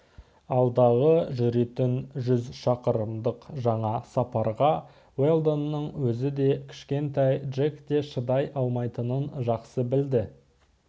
алдағы жүретін жүз шақырымдық жана сапарға уэлдонның өзі де кішкентай джек те шыдай алмайтынын жақсы білді